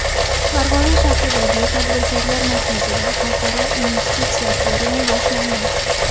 Farg‘ona shahridagi Tadbirkorlar markazida Xalqaro investitsiya forumi boshlandi.